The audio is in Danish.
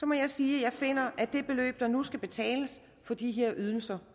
må jeg sige at jeg finder de beløb der nu skal betales for disse ydelser